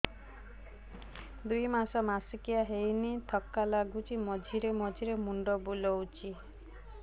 ଦୁଇ ମାସ ମାସିକିଆ ହେଇନି ଥକା ଲାଗୁଚି ମଝିରେ ମଝିରେ ମୁଣ୍ଡ ବୁଲୁଛି